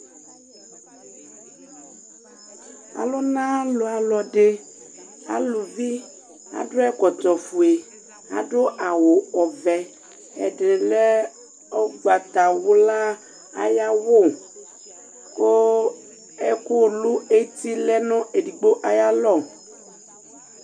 Ɔluna ɔlɔdi alɛ uluvi adu ɛkɔtɔ ofue adu awu ɔvɛ ɛdi lɛ ugbatawla ayawu ku ɛku lu eti lɛ nu edigbo ayalɔ